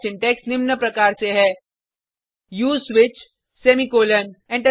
switch का syntax निम्न प्रकार से हैः उसे स्विच सेमीकॉलन